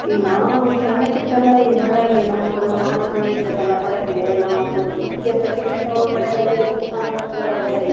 ಇಗ್ ನಾವು ಸನ್ನ್ಕಿರ್ತೆಲ್ಲಾ ಇ ಹೊಳೆಯಲ್ಲಿ ನಮ್ಮೂರಲ್ಲಿ ನಮ್ ಅಮ್ಮವ್ರ್ ಮನೆಯಲ್ಲಿದ್ದಾಗೆಲ್ಲಾ ಹೊಳೆಗೆ ನಾವು ಹುಡಗಿಯರ್ ಜೊತೆಗೆಲ್ಲಾ ಹೋಗಿ ಬಟ್ಟೆ ಒಗಿಯೋದು ಸ್ನಾನ ಮಾಡ್ಕೊಂಡ್ ಬರೋದು ಹೊಳೆಗೆ--